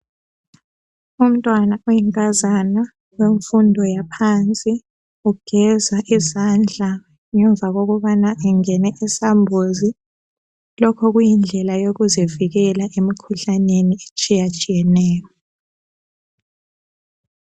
Umtwana oyinkazana wemfundo yaphansi ugeza izandla ngemva kokubana engene esambuzi, lokhu kuyindlela yokuzivikela emikhuhlaneni etshiyatshiyeneyo.